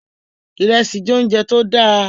Ìrẹsì jẹ́ oúnjẹ tó dáa